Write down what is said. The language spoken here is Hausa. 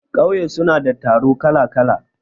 ƙauye suna da taro kala-kala